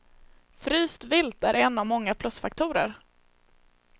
Fryst vilt är en av många plusfaktorer.